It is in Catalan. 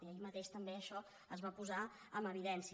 i ahir mateix també això es va posar en evidència